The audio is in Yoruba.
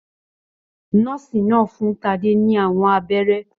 Nọ́ọ́sì náà fún Tade ní àwọn abẹ́rẹ́.